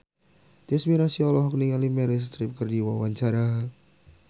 Tyas Mirasih olohok ningali Meryl Streep keur diwawancara